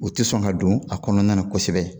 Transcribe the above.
U tɛ sɔn ka don a kɔnɔna na kosɛbɛ